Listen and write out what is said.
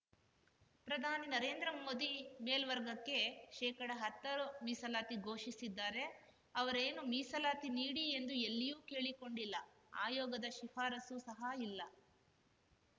ಪ್ರಧಾನಿ ನರೇಂದ್ರಮೋದಿ ಮೇಲ್ವರ್ಗಕ್ಕೆ ಶೇಕಡಹತ್ತರ ಮೀಸಲಾತಿ ಘೋಷಿಸಿದ್ದಾರೆ ಅವರೇನು ಮೀಸಲಾತಿ ನೀಡಿ ಎಂದು ಎಲ್ಲಿಯೂ ಕೇಳಿಕೊಂಡಿಲ್ಲ ಆಯೋಗದ ಶಿಫಾರಸ್ಸು ಸಹ ಇಲ್ಲ